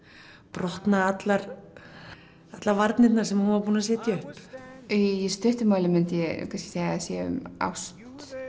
brotna allar varnirnar sem hún er búin að setja upp í stuttu máli myndi ég kannski segja að sé um ást